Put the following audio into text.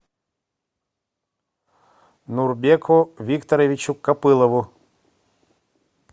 нурбеку викторовичу копылову